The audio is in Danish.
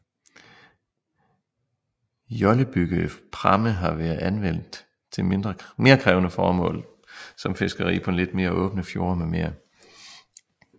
Jollebyggede pramme har været anvendt til mere krævende formål som fiskeri på lidt mere åbne fjorde mm